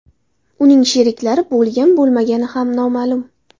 Uning sheriklari bo‘lgan-bo‘lmagani ham noma’lum.